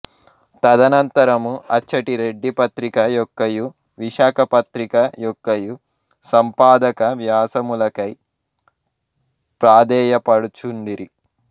తదనంతరము అచ్చట రెడ్డి పత్రిక యొక్కయు విశాఖ పత్రిక యొక్కయు సంపాదక వ్యాసములకై ప్రాథేయపడుచుండిరి